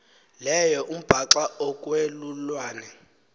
leyo umbaxa okwelulwane